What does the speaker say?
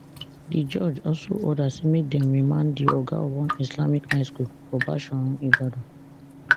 di judge also order say make dem remand di oga of one islamic high school for bashorun ibadan